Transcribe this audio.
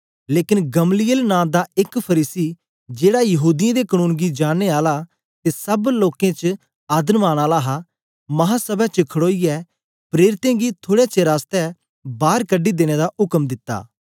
लेकन गमलीएल नां दा एक फरीसी जेड़ा यहूदीयें दे कनून गी जाननें आला ते सब लोकें च आदरमान आला हा महासभै च खड़ोईयै प्रेरितें गी थुड़े चेर आसतै बार कढी देने दा उक्म दित्ता